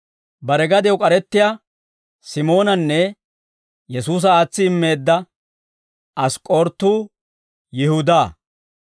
bare gadew k'arettiyaa Simoonanne Yesuusa aatsi immeedda Ask'k'orootu Yihudaa.